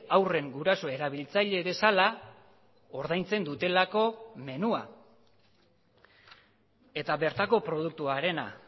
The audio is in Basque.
haurren guraso erabiltzaile bezala ordaintzen dutelako menua eta bertako produktuarena